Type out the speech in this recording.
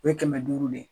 O ye kɛmɛ duuru de ye